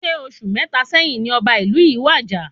Ṣe oṣù mẹta sẹ́yín ní ọba ìlú yin wàjà?